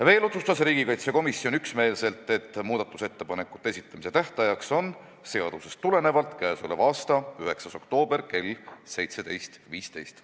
Veel otsustas riigikaitsekomisjon üksmeelselt, et muudatusettepanekute esitamise tähtajaks on seadusest tulenevalt k.a 9. oktoober kell 17.15.